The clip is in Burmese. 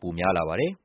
ပိုများပါတယ်။